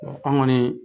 an kɔni